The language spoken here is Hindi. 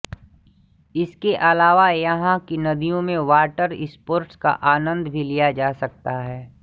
इसके अलावा यहां की नदियों में वाटर स्पोर्टस का आनंद भी लिया जा सकता है